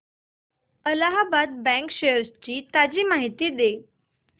Allahabad bank shares ची ताजी माहिती दे